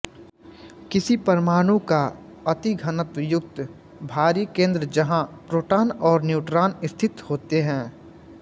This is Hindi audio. किसी परमाणु का अतिघनत्व युक्त भारी केन्द्र जहाँ प्रोटान और न्यूट्रॉन स्थित होते हैं